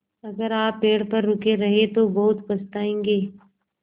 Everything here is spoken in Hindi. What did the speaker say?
अगर आप पेड़ पर रुके रहे तो बहुत पछताएँगे